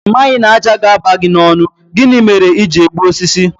Ị maghị na ájá ga-aba n'ọnụ gị, gịnị mere i ji egbu osisi?